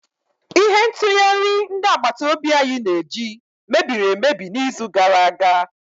Ihe ntụghari ndi agbata obi anyi na-eji mebiri emebi n'izu gara aga